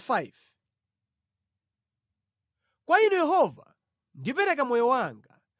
Kwa Inu Yehova, ndipereka moyo wanga.